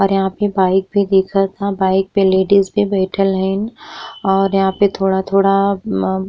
और यहाँ पे बाइक भी दिखत है बाइक पे लेडीस भी बैठइल हेन और यहाँ पे थोड़ा-थोड़ा मम्म --